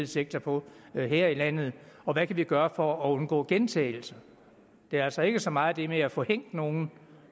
sektor på her i landet og hvad kan vi gøre for at undgå gentagelser det er altså ikke så meget det med at få hængt nogen